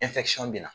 bɛ na